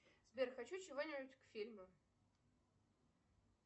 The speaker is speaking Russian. сбер хочу чего нибудь к фильму